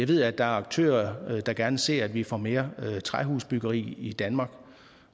ved at der er aktører der gerne ser at vi får mere træhusbyggeri i danmark